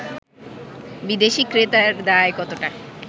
বিদেশী ক্রেতার দায় কতটা